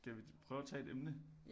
Skal vi prøve at tage et emne